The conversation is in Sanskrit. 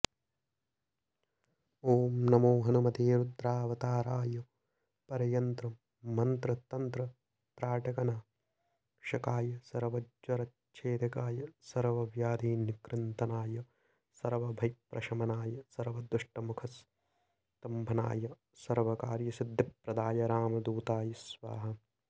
ॐ नमो हनुमते रुद्रावताराय परयन्त्रमन्त्रतन्त्रत्राटकनाशकाय सर्वज्वरच्छेदकाय सर्वव्याधिनिकृन्तनाय सर्वभयप्रशमनाय सर्वदुष्टमुखस्तंम्भनाय सर्वकार्यसिद्धिप्रदाय रामदूताय स्वाहा